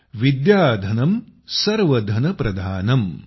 विद्याधनं सर्वधनप्रधानम्